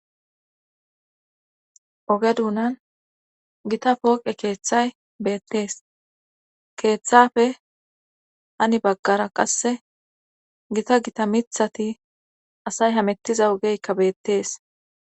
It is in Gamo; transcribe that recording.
oge duunan gita pooqe keeththay beettees keeththafe ani baggara qasse gita gita mithati asay hamettiza ogeykka beettees